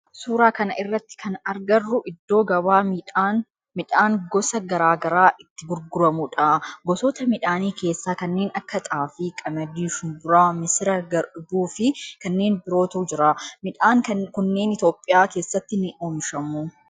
Suuraa kana irratti kan agarru iddoo gabaa midhaan gosa garaa garaa itti gurguramudha. Gosoota midhaanii keessaa kanneen akka xaafii, qamadii shumburaa, misira, garbuu fi kanneen birootu jira. Midhaan kunneen Itiyoophiyaa keessatti ni oomishamu.